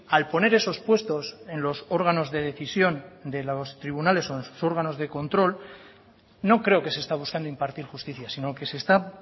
al poner esos puestos en los órganos de decisión de los tribunales o en sus órganos de control no creo que se está buscando impartir justicia sino que se está